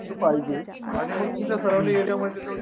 पहायजे आणि मग तुमच्या सरांच्या हेज्यामध्ये कसं होतं